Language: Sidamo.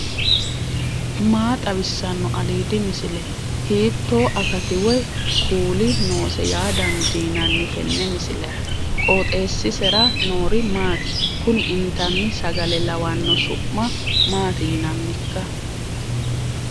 maa xawissanno aliidi misile ? hiitto akati woy kuuli noose yaa dandiinanni tenne misilera? qooxeessisera noori maati? kuni intanni sagale lawanno su'ma maati yinannikka